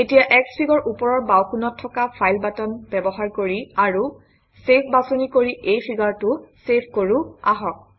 এতিয়া Xfig অৰ ওপৰৰ বাওঁকোণত থকা ফাইল বাটন ব্যৱহাৰ কৰি আৰু চেভ বাছনি কৰি এই ফিগাৰটো চেভ কৰোঁ আহক